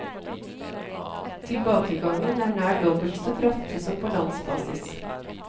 Tilbakegangen er nær dobbelt så kraftig som på landsbasis.